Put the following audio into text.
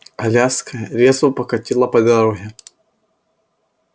коляска резво покатила по дороге